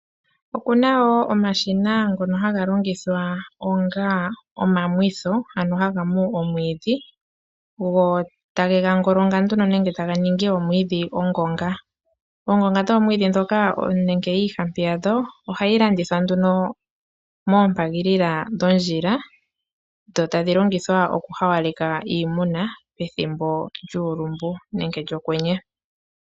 Okuna woo omashina ngono ha ga longithwa onga omamwitho, ano ha ga mu omwiidhi go ta gega ngolonga nduno nenge ta ga ningi omwiidhi ongonga. Oongonga dhoomwiidhi dhoka nenge iihampi yadho, oha yi landithwa nduno mompaalila dhondjila , dho ta dhi longithwa oku hawaleka iimuna pethimbo lyuulumbu nenge lyokwenye.